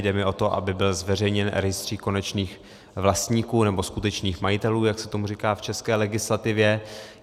Jde mi o to, aby byl zveřejněn rejstřík konečných vlastníků, nebo skutečných majitelů, jak se tomu říká v české legislativě.